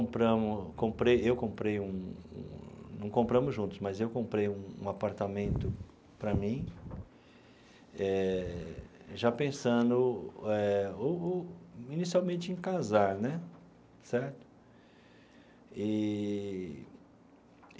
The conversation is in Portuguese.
Compramos comprei eu comprei um não compramos juntos, mas eu comprei um apartamento para mim eh, já pensando inicialmente em casar né, certo? Eee.